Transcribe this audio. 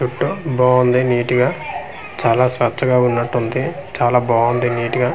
జుట్టు బాగుంది నీట్ గా చాలా స్వచ్చగా ఉన్నట్టుంది చాలా బాగుంది నీట్ గా.